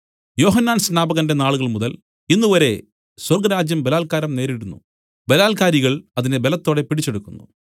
യോഹന്നാൻ സ്നാപകന്റെ നാളുകൾമുതൽ ഇന്നുവരെ സ്വർഗ്ഗരാജ്യം ബലാൽക്കാരം നേരിടുന്നു ബലാൽക്കാരികൾ അതിനെ ബലത്തോടെ പിടിച്ചെടുക്കുന്നു